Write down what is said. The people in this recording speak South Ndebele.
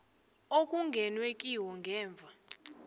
okungenwe kiwo ngemva